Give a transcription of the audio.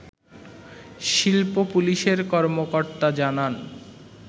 শিল্প পুলিশের কর্মকর্তা জানান